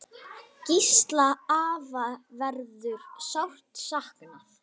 Gísla afa verður sárt saknað.